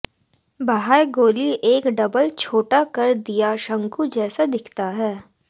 बाह्य गोली एक डबल छोटा कर दिया शंकु जैसा दिखता है